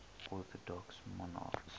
orthodox monarchs